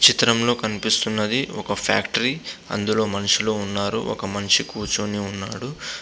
చిత్రంలో కనిపిస్తున్నది ఒక ఫ్యాక్టరీ అందులో మనుషులు ఉన్నారు ఒక మనిషి కూర్చొని ఉన్నాడు.